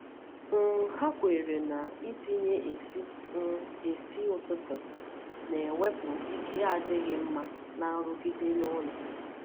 um Hà kwèrè na itinye esi um esi ụtụtụ na-ewepụ ike adịghị mma na nrụgide n’ụlọ.